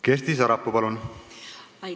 Kersti Sarapuu, palun!